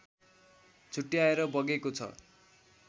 छुट्याएर बगेको छ